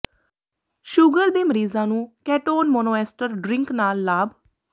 sugar ਦੇ ਮਰੀਜ਼ਾਂ ਨੂੰ ਕੇਟੋਨ ਮੋਨੋਐਸਟਰ ਡ੍ਰਿੰਕ ਨਾਲ ਲਾਭ